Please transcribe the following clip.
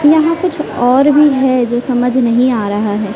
यहां कुछ और भी है जो समझ नहीं आ रहा है।